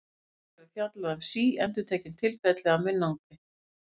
Hér verður fjallað um síendurtekin tilfelli af munnangri.